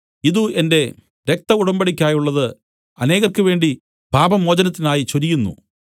ഇതു എന്റെ രക്തം ഉടമ്പടിക്കായുള്ളത് അനേകർക്കുവേണ്ടി പാപമോചനത്തിനായി ചൊരിയുന്നു